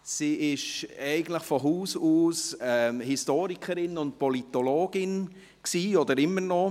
Sie war eigentlich von Haus aus Historikerin und Politologin, oder immer noch.